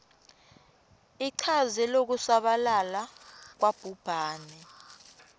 ichaze lokusabalala kwabhubhane